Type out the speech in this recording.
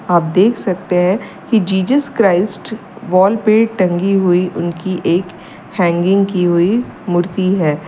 आप देख सकते हैं कि जीसस क्राइस्ट वॉल पे टंगी हुई उनकी एक हैंगिंग की हुई मूर्ति है।